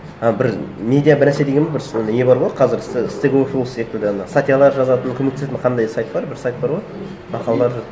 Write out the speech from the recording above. і бір медиа бір нәрсе деген бір сол не бар ғой қазір секілді ана статьялар жазатын көмектесетін қандай сайт бар бір сайт бар ғой мақалалар